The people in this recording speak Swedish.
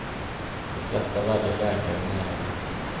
De flesta väljer läkare i närheten.